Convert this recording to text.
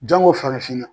Jango farafinna